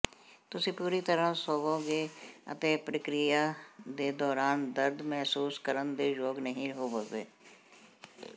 ਤੁਸੀਂ ਪੂਰੀ ਤਰ੍ਹਾਂ ਸੌਂਵੋਗੇ ਅਤੇ ਪ੍ਰਕਿਰਿਆ ਦੇ ਦੌਰਾਨ ਦਰਦ ਮਹਿਸੂਸ ਕਰਨ ਦੇ ਯੋਗ ਨਹੀਂ ਹੋਵੋਗੇ